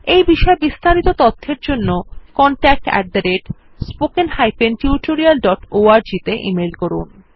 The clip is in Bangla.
এই বিষয় বিস্তারিত তথ্যের জন্য contactspoken tutorialorg তে ইমেল করুন